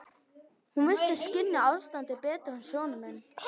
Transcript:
Hún virtist skynja ástandið betur en sonur minn.